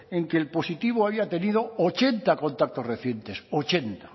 en que el positivo había tenido ochenta contactos recientes ochenta